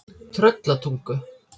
Tröllatungu